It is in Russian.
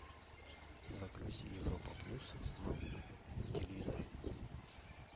загрузи европа плюс на телевизоре